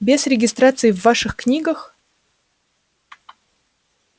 без регистрации в ваших книгах